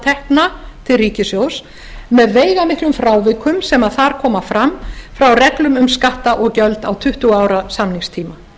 tekna til ríkissjóðs með veigamiklum frávikum sem þar koma fram frá reglum um skatta og gjöld á tuttugu ára samningstíma